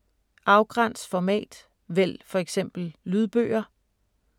Afgræns format: vælg for eksempel lydbøger